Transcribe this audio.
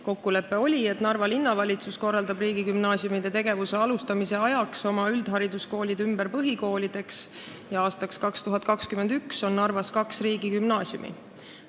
Kokkulepe oli, et linnavalitsus korraldab riigigümnaasiumide tegevuse alustamise ajaks oma üldhariduskoolid ümber põhikoolideks ja aastaks 2021 on Narvas kaks riigigümnaasiumi.